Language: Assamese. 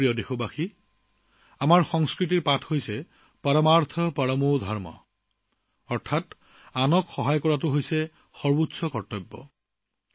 মোৰ প্ৰিয় দেশবাসী আমাৰ সংস্কৃতিৰ শিক্ষা হৈছে পৰমাৰ্থ পৰমো ধৰ্ম অৰ্থাৎ আনক সহায় কৰাটোৱেই সৰ্বোচ্চ কৰ্তব্য